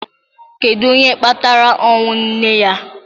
Kedu onye kpatara ọnwụ nne ya?